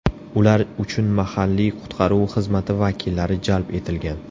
Ular uchun mahalliy qutqaruv xizmati vakillari jalb etilgan.